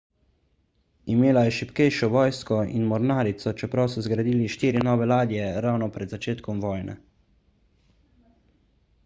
imela je šibkejšo vojsko in mornarico čeprav so zgradili štiri nove ladje ravno pred začetkom vojne